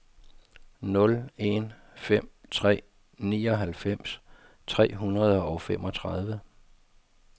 nul en fem tre nioghalvfems tre hundrede og femogtredive